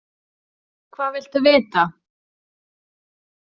Hvað viltu vita?